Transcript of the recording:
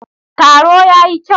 Taro ya yi kyau.